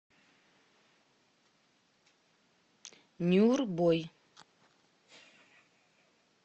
нюрбой